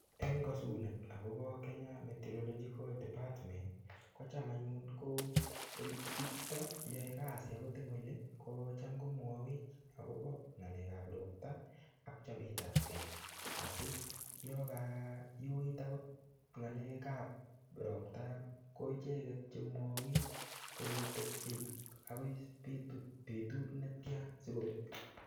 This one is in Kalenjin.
Eng kasunet agobo Kenya Meteorological Department ko cham anyun ko bichuto yoe kasi eng oli kocham komwowech agobo ngalekab ropta ak chopetab ke asi yokayuit agot ngalekab ropta kocham ko icheget che mwawech kole tepche agot betut netia sigobek.